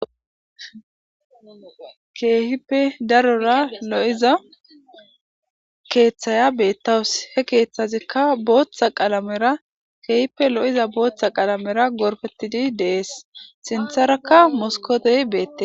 keehippe darora lo7iza keeththaya beettawus he keeththazikka booththa qalamera keehippe lo7iza booththa qalamera gorpetidi dees sintharakka moskotey beette